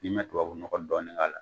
N'i ma tubabu nɔgɔ dɔɔnin k'a la